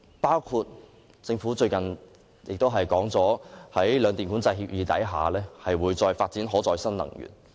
例如政府最近公布，在兩電《管制計劃協議》下，會發展可再生能源。